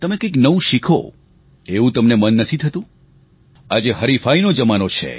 તમે કંઈક નવું શીખો એવું તમને મન નથી થતું આજે હરીફાઈનો જમાનો છે